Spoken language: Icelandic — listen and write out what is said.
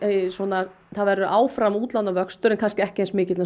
að það verði áfram útlánavöxtur en kannski ekki eins mikill